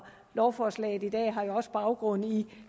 lovforslaget i dag har jo også baggrund i